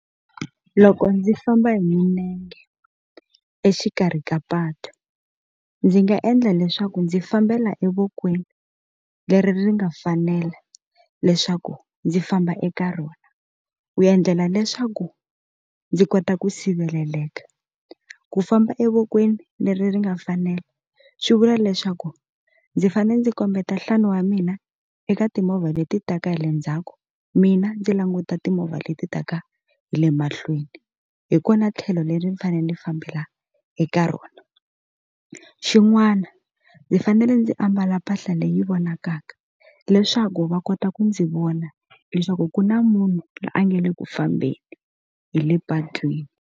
Loko ndzi famba hi milenge exikarhi ka patu ndzi nga endla leswaku ndzi fambela evokweni leri ri nga fanela leswaku ndzi famba eka rona ku endlela leswaku ndzi kota ku siveleleka ku famba evokweni leri ri nga fanela swi vula leswaku ndzi fanele ndzi kombeta nhlana wa mina eka timovha leti taka hi le ndzhaku mina ndzi languta timovha leti taka hi le mahlweni hi kona tlhelo leri ndzi fanele ndzi fambela eka rona xin'wana ndzi fanele ndzi a mbala mpahla leyi vonakaka leswaku va kota ku ndzi vona leswaku ku na munhu loyi a nga le ku fambeni hi le patwini.